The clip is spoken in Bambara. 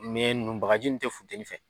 Mɛ ninnu bagaji ninnu tɛ funteni fɛ